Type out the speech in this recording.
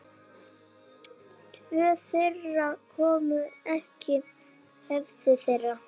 Tvö þeirra komu í höfn.